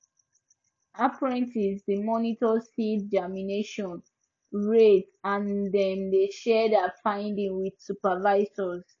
apprentices dey monitor seed germination rate and dem dey share their findings with supervisors